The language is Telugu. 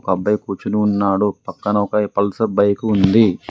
ఒక అబ్బాయి కూర్చుని ఉన్నాడు. పక్కన ఒకయ్ పల్సర్ బైకు ఉంది.